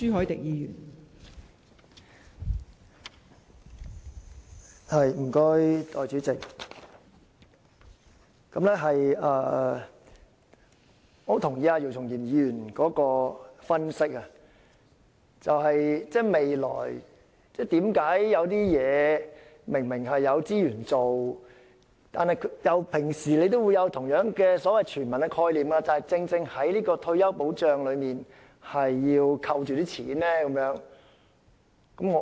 代理主席，我認同姚松炎議員的分析，就是有些事情明明是有資源可以做到的，而當局平時也同樣有所謂"全民"的概念，但為何在退休保障方面，卻扣着款項不願提供呢？